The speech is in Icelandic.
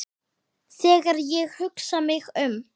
Þegar ég hugsa mig um